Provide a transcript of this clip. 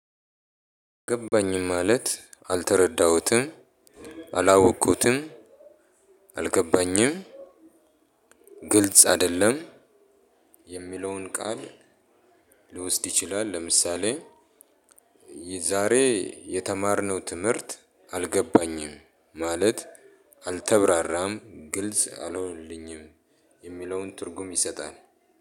ገባኝም ማለት አልተረዳሁትም አላወቁትም አልገባኝም ግልጽ አይደለም። የሚለውን ቃል ሊወስድ ይችላል። ለምሳሌ። ዛሬ የተማርነው ትምህርት አልገባኝም ማለት አልተብራራም ግልጽ አልሆንልኝም የሚለውን ትርጉም ይሰጣል።